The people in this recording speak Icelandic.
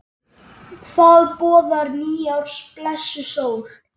Hvað boðar nýárs blessuð sól?